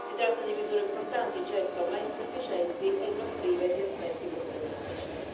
Si tratta di misure importanti, certo, ma insufficienti e non prive di aspetti problematici.